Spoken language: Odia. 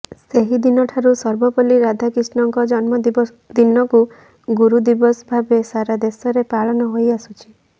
ସେହିଦିନଠାରୁ ସର୍ବପଲ୍ଲୀ ରାଧାକ୍ରିଷ୍ଣନଙ୍କ ଜନ୍ମଦିନକୁ ଗୁରୁଦିବସ ଭାବରେ ସାରାଦେଶରେ ପାଳନ ହୋଇଆସୁଛି